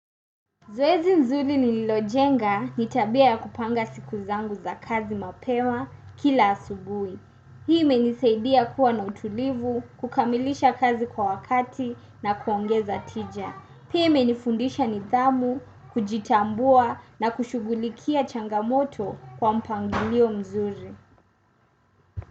Zoezi nzuri ni nilojenga ni tabia kupanga siku zangu za kazi mapewa kila asubuhi. Hii imenisaidia kuwa na utulivu, kukamilisha kazi kwa wakati na kuongeza tija. Pia imenifundisha nidhamu, kujitambua na kushughulikia changamoto kwa mpangilio mzuri.